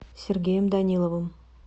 сергеем даниловым